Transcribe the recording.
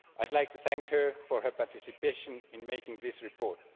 I would like to thank her for her participation in making this report.